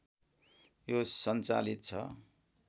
यो सञ्चालित छ